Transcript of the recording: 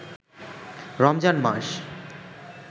Ramzan মাস